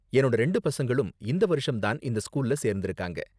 என்னோட ரெண்டு பசங்களும் இந்த வருஷம் தான் இந்த ஸ்கூல்ல சேர்ந்திருக்காங்க.